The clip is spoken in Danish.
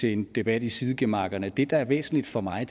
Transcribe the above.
til en debat i sidegemakkerne det der er væsentligt for mig